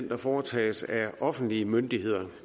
der foretages af offentlige myndigheder